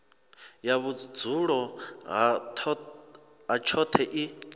ya vhudzulo ha tshoṱhe i